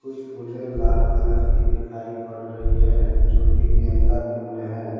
कुछ फुले लाल कलर की दिखाई पड़ रही है जो कि गेंदा फूल हैं।